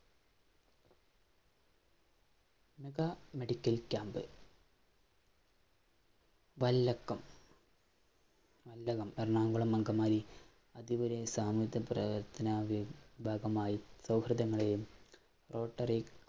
mega medical camp വല്ലക്കം വല്ലനം, എറണാകുളം, അങ്കമാലി അതിരൂപതയില്‍ ഭാഗമായി സൗഹൃദങ്ങളെയും rottery